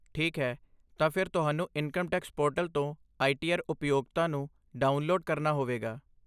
ਠੀਕ ਹੈ, ਤਾਂ ਫਿਰ ਤੁਹਾਨੂੰ ਇਨਕਮ ਟੈਕਸ ਪੋਰਟਲ ਤੋਂ ਆਈ ਟੀ ਆਰ ਉਪਯੋਗਤਾ ਨੂੰ ਡਾਊਨਲੋਡ ਕਰਨਾ ਹੋਵੇਗਾ।